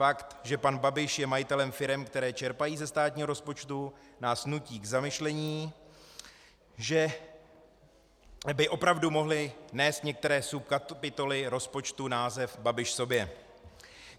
Fakt, že pan Babiš je majitelem firem, které čerpají ze státního rozpočtu, nás nutí k zamyšlení, že by opravdu mohly nést některé subkapitoly rozpočtu název Babiš sobě.